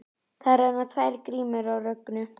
Það renna tvær grímur á Rögnu.